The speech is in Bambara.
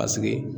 Paseke